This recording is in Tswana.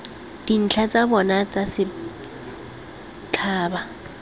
dintlha tsa bona tsa setphaba